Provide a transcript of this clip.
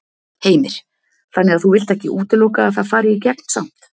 Heimir: Þannig að þú vilt ekki útiloka að það fari í gegn samt?